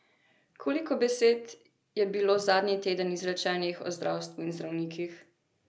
Koliko besed je bilo zadnji teden izrečenih o zdravstvu in zdravnikih!